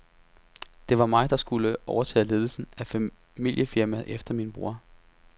Det var mig, der skulle overtage ledelsen af familiefirmaet efter min bror.